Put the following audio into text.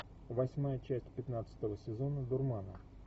восьмая часть пятнадцатого сезона дурмана